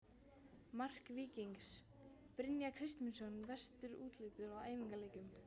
Mark Víkings: Brynjar Kristmundsson Veistu úrslit úr æfingaleikjum?